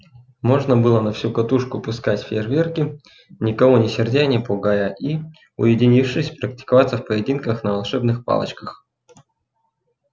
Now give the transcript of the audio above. можно было на всю катушку пускать фейрверки никого не сердя и не пугая и уединившись практиковаться в поединках на волшебных палочках